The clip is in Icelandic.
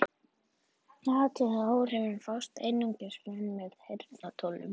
Athugið að áhrifin fást einungis fram með heyrnartólum.